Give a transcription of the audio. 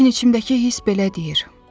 Lakin içimdəki hiss belə deyir: